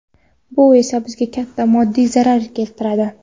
Bu esa bizga katta moddiy zarar keltiradi.